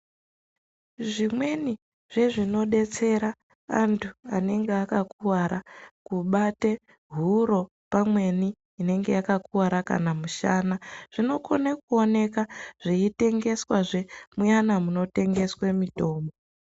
Zvimweni zvezvinodetsera antu anenge akakuwara kubate huro, pamweni inenge yakakuwara kana musana, zvinokone kuoneka zveitengeswa zve muyana munotengeswa mitombo.